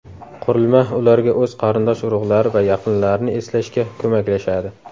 Qurilma ularga o‘z qarindosh-urug‘lari va yaqinlarini eslashga ko‘maklashadi.